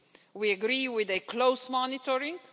We agree with close monitoring.